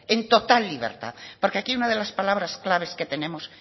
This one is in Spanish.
en total libertad porque aquí una de las palabras claves que tenemos